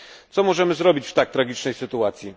Co możemy zrobić w tak tragicznej sytuacji?